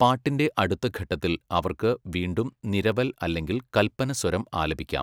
പാട്ടിന്റെ അടുത്ത ഘട്ടത്തിൽ അവർക്ക് വീണ്ടും നിരവൽ അല്ലെങ്കിൽ കൽപ്പനസ്വരം ആലപിക്കാം.